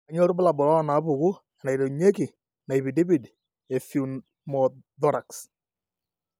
Kainyio irbulabul onaapuku enaiterunyieki naipidipid epneumothorax?